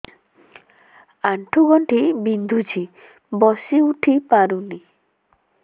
ଆଣ୍ଠୁ ଗଣ୍ଠି ବିନ୍ଧୁଛି ବସିଉଠି ପାରୁନି